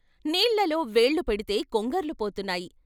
నీళ్ళలో వేళ్ళు పెడితే కొంగర్లు పోతున్నాయి.